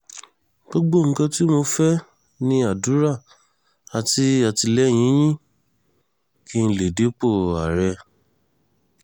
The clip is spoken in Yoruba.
gbogbo nǹkan tí mo fẹ́ ní àdúrà àti àtìlẹ́yìn yín kí n lè dépò ààrẹ